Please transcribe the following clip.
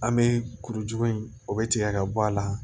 An bɛ kuruju in o bɛ tigɛ ka bɔ a la